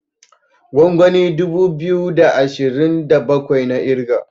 gwangwani dubu biyu da ashirin da bakwai na kirga